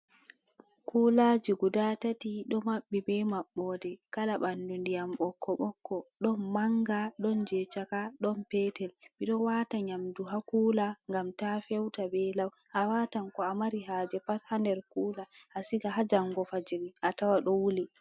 Kulaaji guda taati, do maɓɓi be maɓɓode kala ɓandu ndiyam bokko bokko. ɗon manga ɗon jei chaka ɗon petel ɓe do Waata nyamdu ha kuula ngam taa feuta bee law awaatan ko a mari haaje pat ha nder kuula asigan ha jango fajjiri atawa do wuuli.